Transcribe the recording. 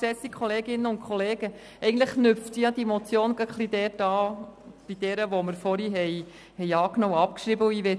Diese Motion knüpft ein wenig an die vorherige an, die Sie angenommen und abgeschrieben haben.